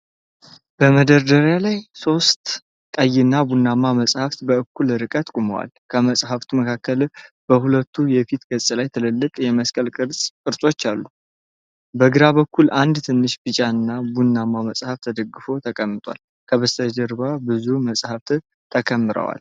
በመደርደሪያ ላይ ሶስት ቀይና ቡናማ መጽሐፍት በእኩል ርቀት ቆመዋል። ከመጻሕፍቱ መካከል በሁለቱ የፊት ገጽ ላይ ትልልቅ የመስቀል ቅርጾች አሉ። በግራ በኩል አንድ ትንሽ ቢጫና ቡናማ መጽሐፍ ተደግፎ ተቀምጧል። ከበስተጀርባ ብዙ መጻሕፍት ተከምረዋል።